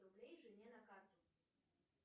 рублей жене на карту